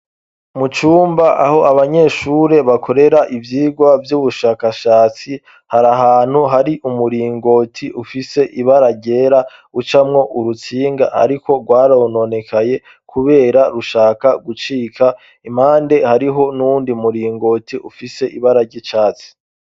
Mucumba aho abanyeshure bakorera ivyirwa vy'ubushakashatsi hari ahantu hari umuringoti ufise ibararyera ucamwo urutsinga, ariko rwarononekaye, kubera rushaka gucika impande hariho n'undi muringoti ufise ibarary'icatsi.